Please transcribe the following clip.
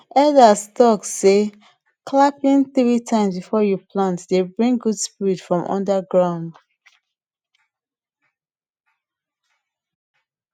elders talk say clapping three times before u plant dey bring good spirit from under ground